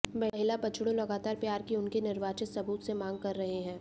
महिला बछड़ों लगातार प्यार की उनकी निर्वाचित सबूत से मांग कर रहे हैं